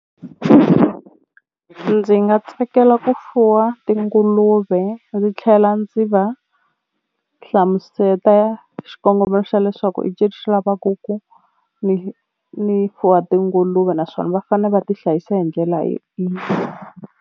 Ndzi nga tsakela ku fuwa tinguluve ndzi tlhela ndzi va hlamuseta xikongomelo xa leswaku xi lavaku ku ni ni fuwa tinguluve naswona va fane va ti hlayisa hi ndlela .